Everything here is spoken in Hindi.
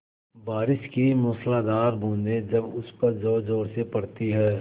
बारिश की मूसलाधार बूँदें जब उस पर ज़ोरज़ोर से पड़ती हैं